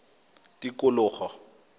tikologo